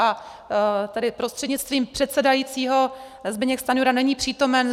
A tady prostřednictvím předsedajícího - Zbyněk Stanjura není přítomen.